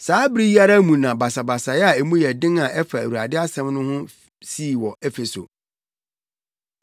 Saa bere yi ara mu na basabasa a emu yɛ den a ɛfa Awurade asɛm no ho no sii wɔ Efeso.